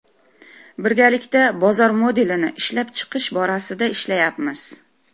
Birgalikda bozor modelini ishlab chiqish borasida ishlayapmiz.